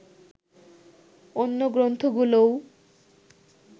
অন্য গ্রন্থগুলোও